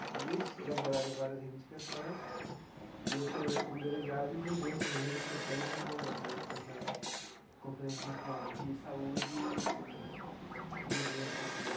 Né e eles elaboraram várias reivindicações e eu fui eleito como delegado e levei essas reivindicações no ne nessa Conferência Nacional de Saúde em dezembro de.